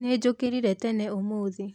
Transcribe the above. Nĩnjũkĩrire tene ũmũthĩ